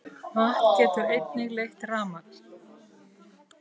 Vatn getur einnig leitt rafmagn.